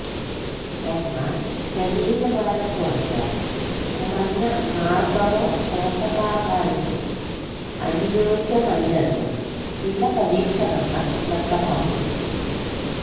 എന്നാൽ ശരീരഭാരം കുറയ്ക്കാൻ കുറഞ്ഞ കാർബറോ പോഷകാഹാരത്തിന് അനുയോജ്യമല്ലെന്ന് ചില പരീക്ഷണങ്ങൾ വ്യക്തമാക്കുന്നു